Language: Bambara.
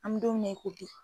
An mi don mina, i ko bi